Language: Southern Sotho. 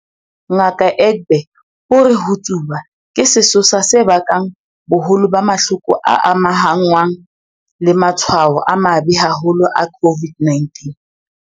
Ngaka Egbe o re ho tsuba ke sesosa se bakang boholo ba mahloko a amahanngwang le matshwao a mabe haholo a COVID-19.